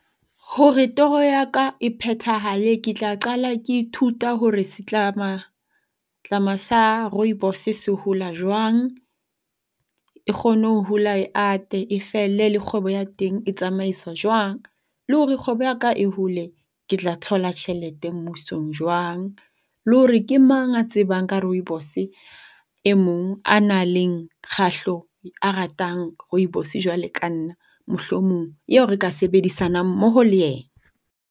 Hore toro ya ka e phethahale ke tla qala ke ithuta hore setlamatlama sa rooibose se hola jwang e kgone hore e hole e ate e felle le kgwebo ya teng e tsamaiswa jwang. Le hore kgwebo ya ka e hole ke tla thola tjhelete mmusong jwang. Le hore ke mang a tsebang ka rooibose e mong a nang le a ratang rooibos-e jwalo ka nna mohlomong eo re ka sebedisanang mmoho le yena.